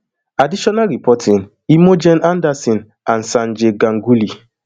additional reporting imogen anderson and sanjay ganguly